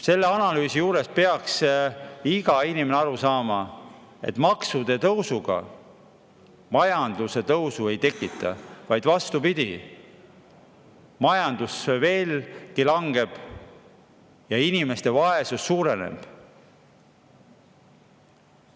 Selle analüüsi juures peaks iga inimene aru saama, et maksude tõusuga majanduse tõusu ei tekita, vaid vastupidi, majandus veelgi langeb ja inimeste vaesus suureneb.